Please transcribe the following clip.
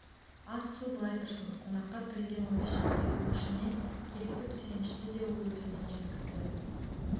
ас-су былай тұрсын қонаққа тігілген он бес шақты үйдің ішіне керекті төсенішті де ол өзінен жеткізді